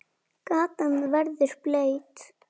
Gatan verður blaut.